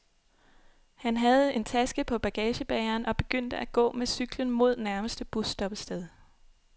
Han havde en taske på bagagebæreren, og begyndte at gå med cyklen mod nærmeste busstoppested.